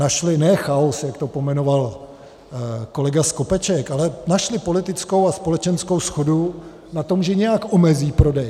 Našly ne chaos, jak to pojmenoval kolega Skopeček, ale našly politickou a společenskou shodu na tom, že nějak omezí prodej.